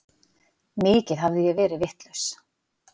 Mikið hafði ég verið vitlaus.